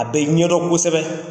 A bɛ ɲɛdɔn kosɛbɛ.